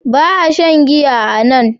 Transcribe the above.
Ba a shan giya a nan.